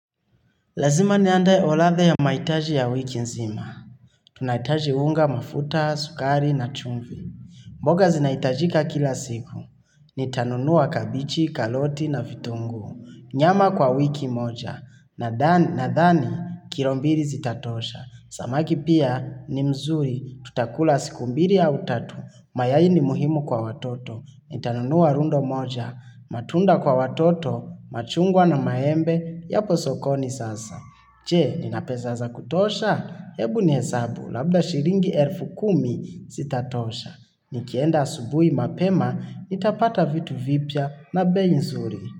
Lazima niandai oroddha ya mahitaji ya wiki nzima. Tunahitaji unga mafuta, sukari na chumvi. Mboga zinahitajika kila siku. Nitanunua kabichi, karoti na vitunguu. Nyama kwa wiki moja. Nadhani, kilo mbili zitatosha. Samaki pia ni mzuri. Tutakula siku mbili au tatu. Mayai ni muhimu kwa watoto. Nitanunua rundo moja. Matunda kwa watoto. Machungwa na maembe. Yapo sokoni sasa. Je, nina pesa za kutosha? Ebu nihesabu, labda shilingi elfu kumi zitatosha. Nikienda asubuhi mapema, nitapata vitu vipya na bei nzuri.